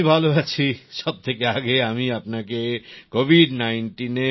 আমি ভাল আছি সবথেকে আগে আমি আপনাকে কোভিড 19 এ